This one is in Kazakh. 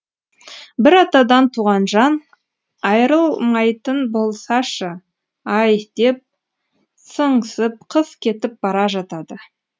бір атадан туған жан айрылмайтын болсашы ай деп сыңсып қыз кетіп бара жатады